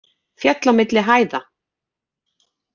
Féll á milli hæða